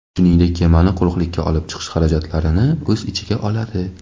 shuningdek kemani quruqlikka olib chiqish xarajatlarini o‘z ichiga oladi.